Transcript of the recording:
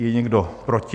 Je někdo proti?